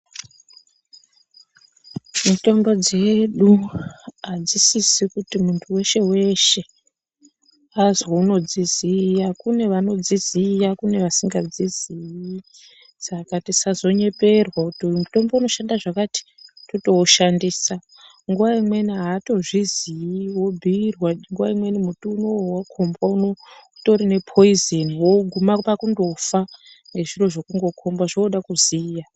Mitombo dzedu hadzisisi kuti muntu veshe-veshe azwi unodziziya kune vanodziziya kune vasingadziziyi. Saka tisazonyeperwa kuti uyu mutombo unoshanda zvakati totoushandisa nguva imweni hatozvii vobhuirwa. Nguva imweni muti unouyu vakombwa unouyu utorine poizeni voguma kundofa ngezviro zvekundokomba zvinoda kuziya.